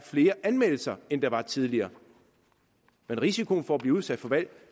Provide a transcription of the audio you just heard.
flere anmeldelser end der var tidligere men risikoen for at blive udsat